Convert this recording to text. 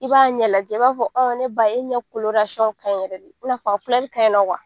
I b'a ɲɛ lajɛ, i b'a fɔ ne ba e ɲɛ ka ɲin yɛlɛ de i n'a fɔ a ka ɲin kuwa.